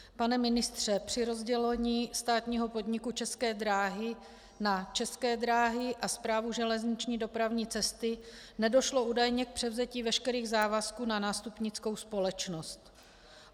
Pane ministře, při rozdělení státního podniku České dráhy na České dráhy a Správu železniční dopravní cesty nedošlo údajně k převzetí veškerých závazků na nástupnickou společnost.